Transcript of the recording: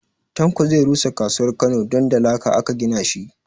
Tanko zai rusa kasuwar Kano don da laka aka gina shi